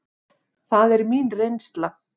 Það er mín reynsla.